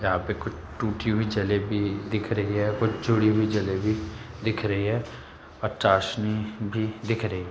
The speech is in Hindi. यहाँं पे कुछ टूटी हुई जलेबी दिख रही है कुछ जुड़ी हुई जलेबी दिख रही है और चाशनी भी दिख रही है।